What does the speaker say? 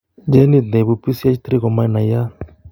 Genit neibu PCH3 komanaiyaat